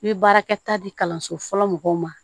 I bɛ baarakɛta di kalanso fɔlɔ mɔgɔw ma